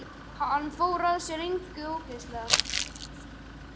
Hann fór sér að engu óðslega.